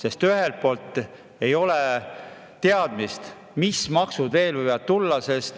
Ei ole ju teadmist, mis maksud veel võivad tulla.